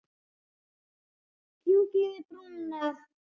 Fjúki yfir brúna.